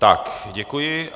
Tak, děkuji.